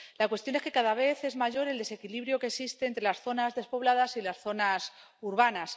La cuestión es que cada vez es mayor el desequilibrio que existe entre las zonas despobladas y las zonas urbanas.